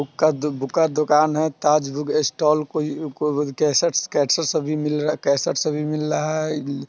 Book का book का दुकान है। ताज बुक स्टाल कोई केसेट्स-केसेट्स अभी मिल रहा है केसेट्स अभी मिल रहा है।